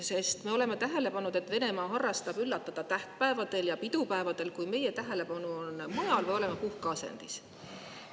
Sest me oleme tähele pannud, et Venemaa harrastab üllatamist tähtpäevadel ja pidupäevadel, kui meie tähelepanu on mujal või oleme puhkeasendis.